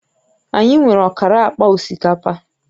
Anyị nwere ọkara akpa osikapa